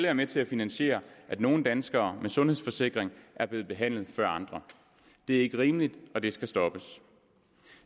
er med til at finansiere at nogle danskere med en sundhedsforsikring er blevet behandlet før andre det er ikke rimeligt og det skal stoppes